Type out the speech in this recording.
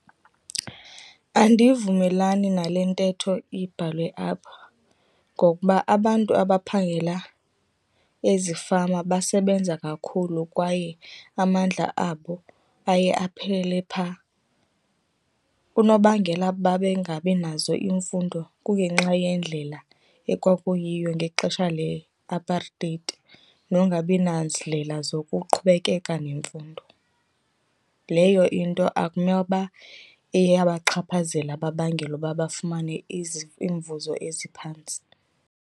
Andivumelani nale ntetho ibhalwe apha, ngokuba abantu abaphangela ezifama basebenza kakhulu kwaye amandla abo aye aphele phaa. Unobangela babe ngabinazo iimfundo kungenxa yendlela ekwakuyiyo ngexesha leApartheid nongabina zindlela zokuqhubekeka nemfundo. Leyo into akumele uba iyabachaphazela babangela ukuba bafumane iimvuzo eziphantsi.